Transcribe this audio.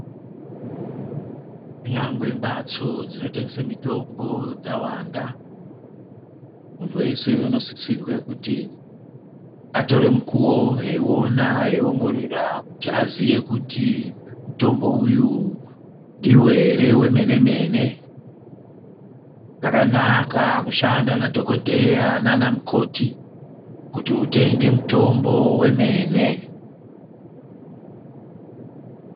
Kunyangwe mbatso dzinotengesa mitombo dzawanda muntu weshe unosisirwe kuti atore mukuwo eiona eiongorora kuti aziye kuti mutombo uyu ndewemene mene zvakanaka kushanda nadhokodheya nanamukoti kuti utenge mutombo wemene.